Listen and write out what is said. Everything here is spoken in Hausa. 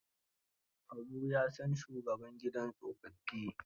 Habu ya san shugaban gidan tsofaffin.